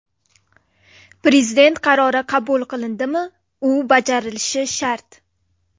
Prezident qarori qabul qilindimi, u bajarilishi shart.